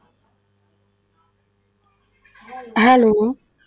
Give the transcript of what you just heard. Hello